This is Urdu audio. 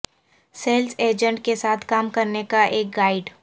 سیلز ایجنٹ کے ساتھ کام کرنے کا ایک گائیڈ